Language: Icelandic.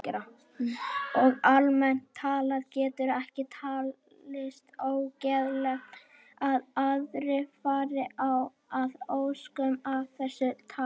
Og almennt talað getur ekki talist óeðlilegt að aðrir fari að óskum af þessu tagi.